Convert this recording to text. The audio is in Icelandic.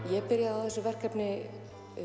ég byrjaði á þessu verkefni